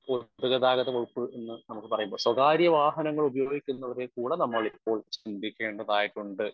Speaker 1 പൊതു ഗതാഗത വകുപ്പ് എന്ന് നമുക്ക് പറയുമ്പോൾ സ്വകാര്യവാഹനങ്ങളുപയോഗിക്കുന്നവരെ വരെക്കൂടെ നമ്മൾ ഇപ്പോൾ ചിന്തിക്കേണ്ടതായിട്ടുണ്ട്.